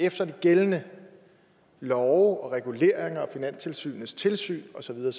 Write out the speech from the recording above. efter de gældende love og reguleringer og finanstilsynets tilsyn og så videre